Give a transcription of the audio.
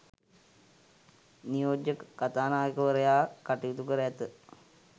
නියෝජ්‍ය කතානායකවරයා කටයුතු කර ඇත.